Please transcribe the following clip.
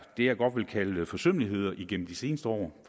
det jeg godt vil kalde forsømmeligheder igennem de seneste år